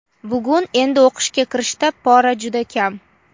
Bugun endi o‘qishga kirishda pora juda kam.